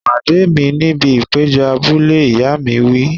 Pàdé mi níbi ìpéjọ abúlé! Ìyá mi wí.